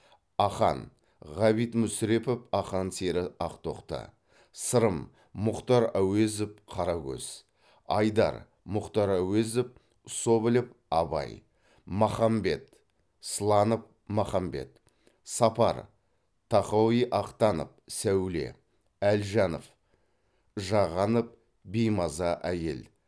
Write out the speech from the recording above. ақан ғабит мүсірепов ақан сері ақтоқты сырым мұхтар әуезов қарагөз айдар мұхтар әуезов соболев абай махамбет сланов махамбет сапар тахауи ахтанов сәуле әлжанов жағанов беймаза әйел